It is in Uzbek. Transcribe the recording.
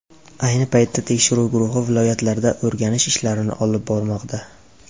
Ayni paytda tekshiruv guruhi viloyatlarda o‘rganish ishlarini olib bormoqda.